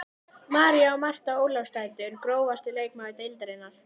María og Marta Ólafsdætur Grófasti leikmaður deildarinnar?